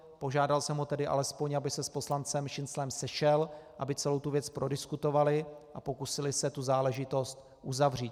Požádal jsem ho tedy alespoň, aby se s poslancem Šinclem sešel, aby celou tu věc prodiskutovali a pokusili se tu záležitost uzavřít.